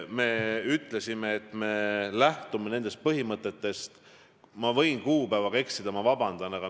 Me ütlesime, et me lähtume nendest põhimõtetest, mis valitsus on ühe korra heaks kiitnud.